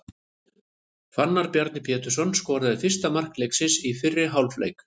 Fannar Bjarki Pétursson skoraði fyrsta mark leiksins í fyrri hálfleik.